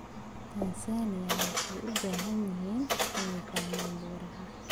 Tansaaniya waxay u baahan yihiin inay fahmaan beeraha.